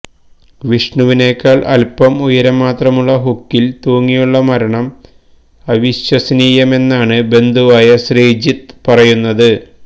ജിഷ്ണുവിനേക്കാള് അല്പം ഉയരം മാത്രമുള്ള ഹുക്കില് തൂങ്ങിയുള്ള മരണം അവിശ്വസനീയമെന്നാണ് ബന്ധുവായ ശ്രീജിത്ത് പറയുന്നത്